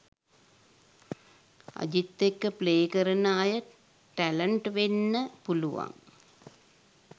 අජිත් එක්ක ප්ලේ කරන අය ටැලන්ට් වෙන්න පුළුවන්